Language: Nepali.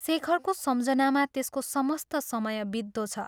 शेखरको सम्झनामा त्यसको समस्त समय बित्दो छ।